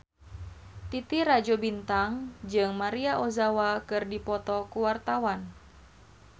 Titi Rajo Bintang jeung Maria Ozawa keur dipoto ku wartawan